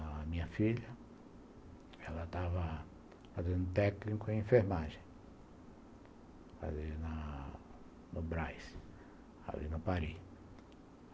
A minha filha, ela estava fazendo técnico em enfermagem, ali na no Brás, ali na Paris.